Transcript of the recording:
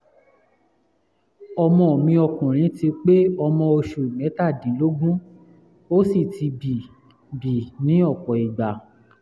ọmọ mi ọkùnrin ti pé ọmọ oṣù mẹ́tàdínlógún ó sì ti bì bì ní ọ̀pọ̀ ìgbà